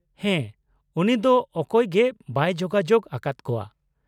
-ᱦᱮᱸ, ᱩᱱᱤ ᱫᱚ ᱚᱠᱚᱭ ᱜᱮ ᱵᱟᱭ ᱡᱳᱜᱟᱡᱳᱜ ᱟᱠᱟᱫ ᱠᱚᱣᱟ ᱾